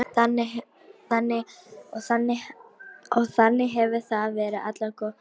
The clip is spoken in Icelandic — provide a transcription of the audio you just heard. Og þannig hefur það verið allar götur síðan.